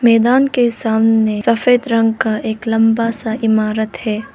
मैदान के सामने सफेद रंग का एक लंबा सा इमारत है।